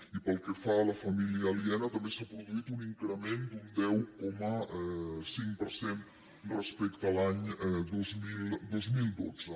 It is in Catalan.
i pel que fa a la família aliena també s’ha produït un increment d’un deu coma cinc per cent respecte a l’any dos mil dotze